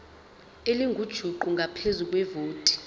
elingujuqu ngaphezu kwevoti